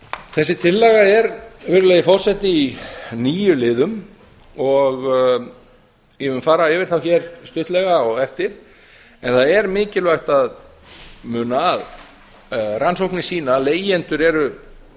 þessi tillaga er virðulegi forseti í níu liðum ég mun nú fara yfir þá hér stuttlega á eftir en það er mikilvægt að muna að rannsóknir sýna að leigjendur eru